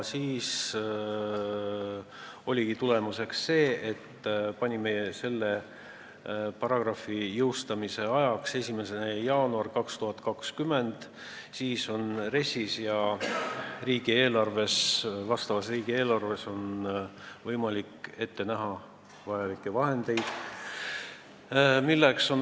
Tulemus oligi see, et panime selle paragrahvi jõustamise ajaks 1. jaanuar 2020, sel juhul on RES-is ja riigieelarves võimalik ette näha vajalikud vahendid.